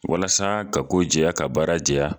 Walasa ka ko jɛya ka baara jɛya